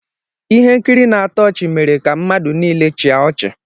Ihe nkiri na-atọ ọchị mere ka mmadụ niile chịa ọchị.